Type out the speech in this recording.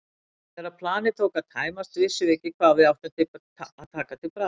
Þegar planið tók að tæmast vissum við ekki hvað við áttum að taka til bragðs.